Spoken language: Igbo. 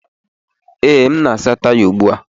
Ee, m na-asa taya ụgbọ ala.